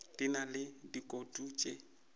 di na le dikutu tše